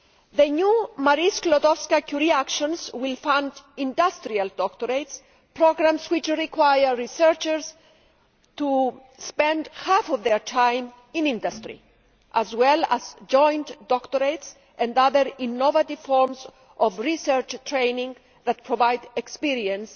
The new Marie Skłodowska Curie Actions will fund industrial doctorates programmes which require researchers to spend half of their time in industry as well as joint doctorates and other innovative forms of research training that provide experience